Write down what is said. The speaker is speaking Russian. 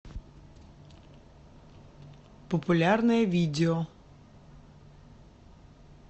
популярное видео